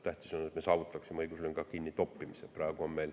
Tähtis on, et me saavutaksime õiguslünga kinnitoppimise.